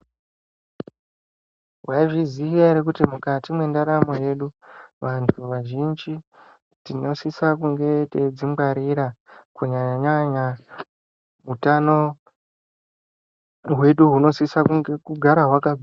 Mwaizviziya ere kuti mukati mwendaramo yedu vantu vazhinji tingasisa kunge teidzingwarira kunyanya nyanya hutano hwedu hunosisa kunge kugara hwakanaka.